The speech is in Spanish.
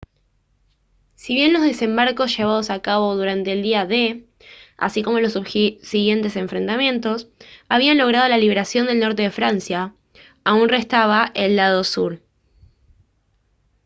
si bien los desembarcos llevados a cabo durante el día d así como los subsiguientes enfrentamientos habían logrado la liberación del norte de francia aún restaba el lado sur